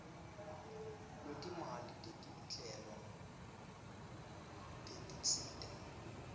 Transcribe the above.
lwetimali tetinhlelo tetinsita